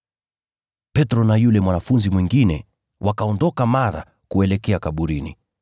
Petro na yule mwanafunzi mwingine wakaondoka mara kuelekea kaburini.